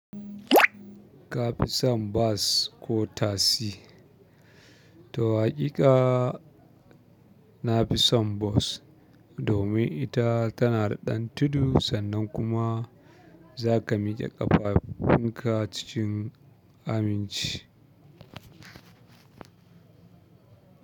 Ka fi son bas ko tasi? To hakika, na fi son bas domin ita tana da ɗan tudu sannan kuma za ka mike ƙafafunka cikin aminci.